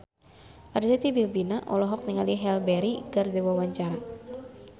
Arzetti Bilbina olohok ningali Halle Berry keur diwawancara